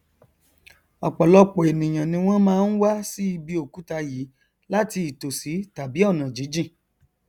ọpọlọpọ ènìà ni wọn máa n wá sí ibi òkúta yìí láti ìtòsí tàbí ọnàjíjìn